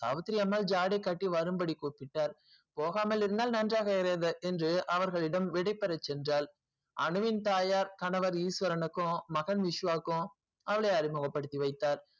சாவித்திரி அம்மா ஜாடை காட்டி வரும் படி கூப்பிட்டால் போகாமல் இருந்தால் நன்றாக இருக்காது என்று அவர்களிடம் விடைபெற சென்றால் அனுவின் தாய்யார் ஈஸ்வரனுக்கும் மகன் விஸ்வகும் அவளை அறிமுக படுத்தி வைத்தால்